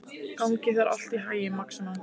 Gangi þér allt í haginn, Maxima.